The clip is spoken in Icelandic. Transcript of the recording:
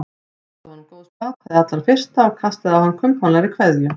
Óskaði honum góðs bata hið allra fyrsta og kastaði á hann kumpánlegri kveðju.